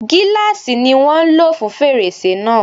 Gíláàsì ni wọ́n ń lò fún fèrèsé náà.